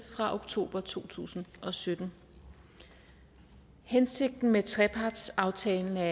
fra oktober to tusind og sytten hensigten med trepartsaftalen er